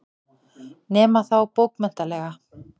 Nema þá bókmenntalega.